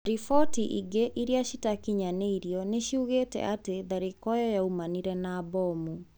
Riboti inge iria citakinyaneirio niciugite ati tharĩkĩro iyo yaumanire na bomu.